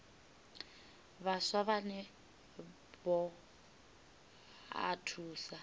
vhaswa vhane vha o thusa